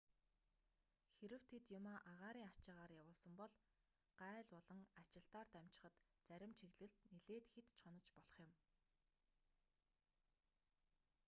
хэрэв тэд юмаа агаарын ачаагаар явуулсан бол гааль болон ачилтаар дамжихад зарим чиглэлд нилээд хэд ч хонож болох юм